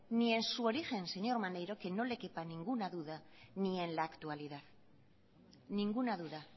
ni en su origen señor maneiro que no le quepa ninguna duda ni en la actualidad ninguna duda